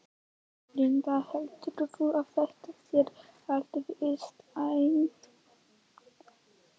Linda: Heldurðu að þetta sé allt vistvænt?